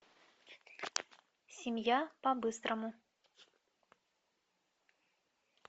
семья по быстрому